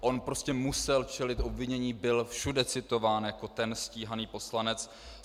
On prostě musel čelit obvinění, byl všude citován jako ten stíhaný poslanec.